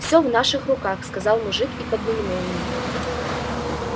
всё в наших руках сказал мужик и подмигнул мне